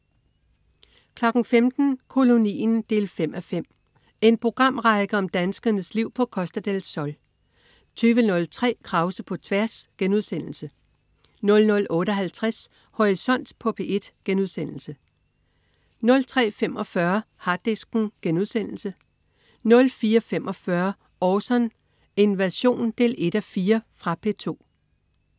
15.00 Kolonien 5:5. En programrække om danskernes liv på Costa del Sol 20.03 Krause på tværs* 00.58 Horisont på P1* 03.45 Harddisken* 04.45 Orson: Invasion 1:4. Fra P2